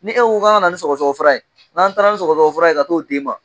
Ni e ko kan ka na ni sɔgɔsɔgɔ fura ye, n'an taala ni sɔgɔsɔgɔ fura ye ka taa'o di ma.